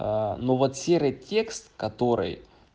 ну вот серый текст который